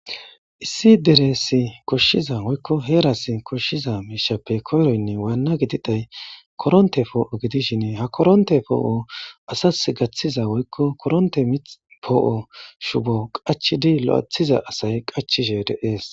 issi deresi koshshiza woykko heeras koshshiza miishappe koyroynne waanna gididay koronte poo7o gidishin ha koronte poo7o asas gaththiza woykko koronte mipoo7o shubo qachidi lo7ethiza asay qachishe de'es.